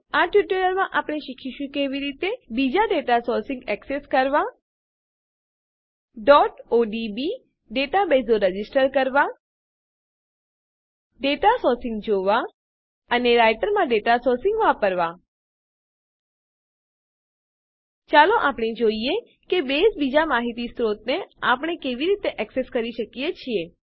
આ ટ્યુટોરીયલમાં આપણે શીખીશું કે કેવી રીતે બીજા ડેટા સોર્સીસમાહિતી સ્ત્રોતો એક્સેસ કરવાં odb ડેટાબેઝો રજીસ્ટર કરવાં નોંધવાં ડેટા સોર્સીસમાહિતી સ્ત્રોતો જોવાં અને રાઈટરમાં ડેટા સોર્સીસ માહિતી સ્ત્રોતો વાપરવાં ચાલો આપણે જોઈએ કે બેઝમાં બીજા માહિતી સ્ત્રોતોને આપણે કેવી રીતે એક્સેસ કરી શકીએ છીએ